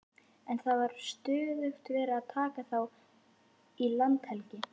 En það var stöðugt verið að taka þá í landhelgi.